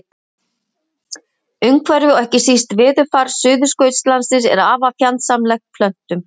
Umhverfi og ekki síst veðurfar Suðurskautslandsins er afar fjandsamlegt plöntum.